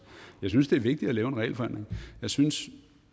jeg synes det er vigtigt at lave en regelforenkling jeg synes